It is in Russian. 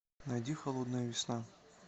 найди холодная весна